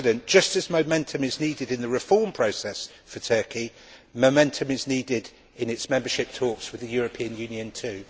Just as momentum is needed in the reform process for Turkey, momentum is needed in its membership talks with the European Union too.